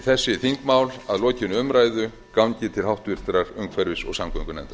þessi þingmál að lokinni umræðu gangi til háttvirtrar umhverfis og samgöngunefndar